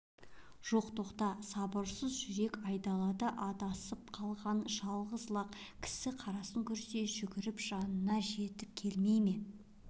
жоқ тоқта сабырсыз жүрек айдалада адасып қалған жалғыз лақ кісі қарасын көрсе жүгіріп жанына жетіп келмей ме